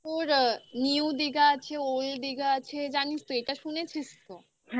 new Digha আছে, old Digha আছে. জানিস তো এটা শুনেছিস তো?